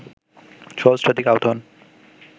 সহস্রাধিক আহত হন